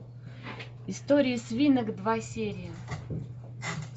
история свинок два серия